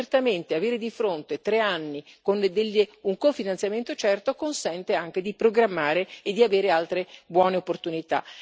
Ma certamente avere di fronte tre anni con un cofinanziamento certo consente anche di programmare e di avere altre buone opportunità.